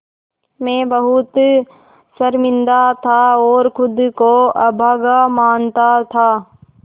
मैं बहुत शर्मिंदा था और ख़ुद को अभागा मानता था